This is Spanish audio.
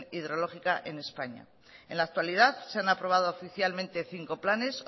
hidrológica en españa en la actualidad se han aprobado oficialmente cinco planes